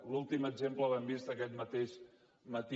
l’últim exemple l’hem vist aquest mateix matí